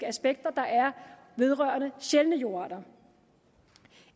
aspekter der er vedrørende sjældne jordarter